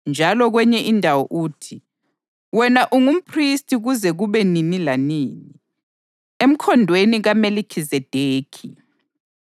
Njalo kwenye indawo uthi, “Wena ungumphristi kuze kube nini lanini, emkhondweni kaMelikhizedekhi.” + 5.6 AmaHubo 110.4